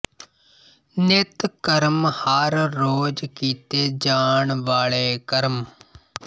ਨਿੱਤ ਕਰਮ ਹਰ ਰੋਜ਼ ਕੀਤੇ ਜਾਣ ਵਾਲੇ ਕਰਮ